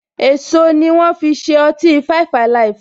Èso ni wọn fi ṣe ọtí five alive.